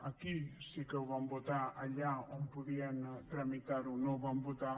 aquí sí que ho van votar allà on podien tramitar ho no ho van votar